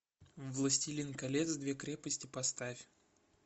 властелин колец две крепости поставь